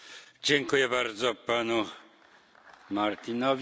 Dziękuję bardzo panu Martinowi.